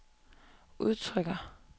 udtrykker